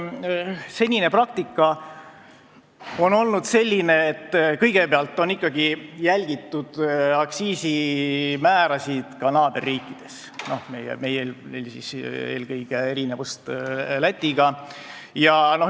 Senine praktika on olnud selline, et kõigepealt on ikkagi jälgitud aktsiisimäärasid naaberriikides, meil eelkõige erinevust Läti määradest.